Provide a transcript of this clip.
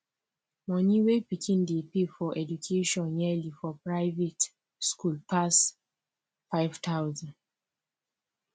money whey pikin dey pay for education yearly for private school pass five thousand